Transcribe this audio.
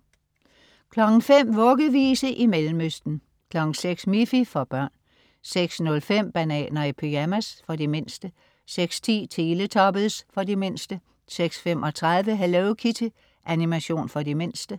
05.00 Vuggevise i Mellemøsten 06.00 Miffy. For børn 06.05 Bananer i pyjamas. For de mindste 06.10 Teletubbies. For de mindste 06.35 Hello Kitty. Animation for de mindste